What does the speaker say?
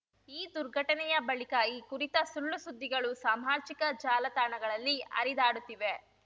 ಈ ದುರ್ಘಟನೆಯ ಬಳಿಕ ಈ ಕುರಿತ ಸುಳ್ಳುಸುದ್ದಿಗಳು ಸಾಮಾಜಿಕ ಜಾಲತಾಣಗಳಲ್ಲಿ ಹರಿದಾಡುತ್ತಿವೆ